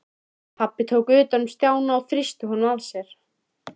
Pabbi tók utan um Stjána og þrýsti honum að sér.